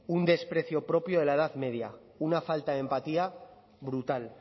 un desprecio propio de la edad media una falta de empatía brutal